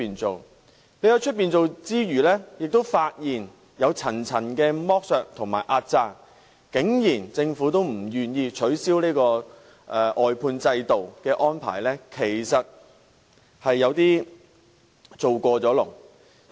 外判後，我們發現有層層剝削和壓榨的情況，但政府竟然仍不願意取消外判制度的安排，實在有點過分。